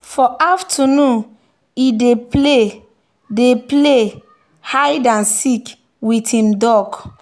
for afternoon e dey play dey play hide and seek with him duck.